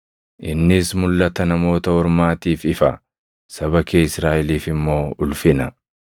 innis mulʼata Namoota Ormaatiif ifa; saba kee Israaʼeliif immoo ulfina.”